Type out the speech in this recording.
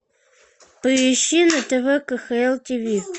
поищи на тв кхл тв